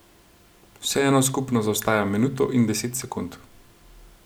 Vseeno skupno zaostaja minuto in deset sekund.